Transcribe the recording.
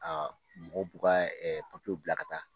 mɔgɔw b'u ka papiyew bila ka taa